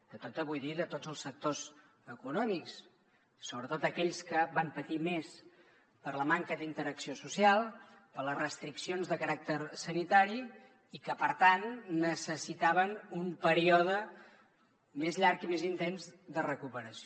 de tota vull dir de tots els sectors econòmics sobretot aquells que van patir més per la manca d’interacció social per les restriccions de caràcter sanitari i que per tant necessitaven un període més llarg i més intens de recuperació